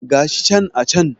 Gashi can a can